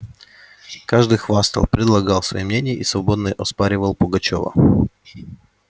каждый хвастал предлагал свои мнения и свободно оспоривал пугачёва